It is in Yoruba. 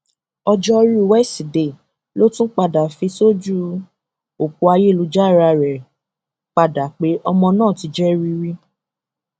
òjoru wẹsídẹẹ ló tún padà fi ṣojú ọpọ ayélujára rẹ padà pé ọmọ náà ti jẹ rìrì